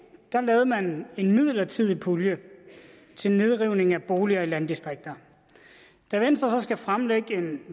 lavede man en midlertidig pulje til nedrivning af boliger i landdistrikter da venstre så skulle fremlægge